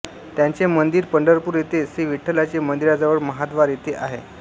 त्यांचे मंदिर पंढरपूर येथे श्री विठ्ठलाचे मंदीरजवळ महाद्वार येथे आहे